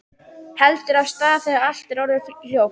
Heldur af stað þegar allt er orðið hljótt.